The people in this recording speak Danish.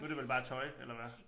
Nu det vel bare tøj eller hvad